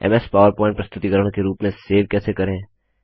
MS PowerPoint प्रस्तुतिकरण के रूप में सेव कैसे करें